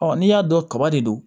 n'i y'a dɔn kaba de don